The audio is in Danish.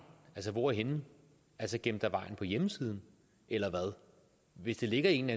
hvor henne altså gemt af vejen på hjemmesiden eller hvad hvis det ligger i en